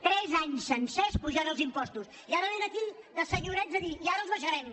tres anys sencers apujant els impostos i ara vénen aquí de senyorets a dir i ara els abaixa·rem